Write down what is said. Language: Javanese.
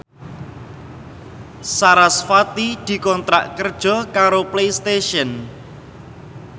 sarasvati dikontrak kerja karo Playstation